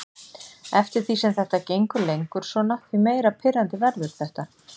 Eftir því sem þetta gengur lengur svona því meira pirrandi verður þetta.